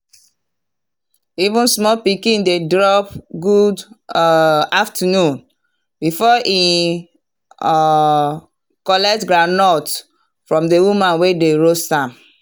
even small pikin dey drop “good um afternoon” before e um collect groundnut from the woman wey dey roast am.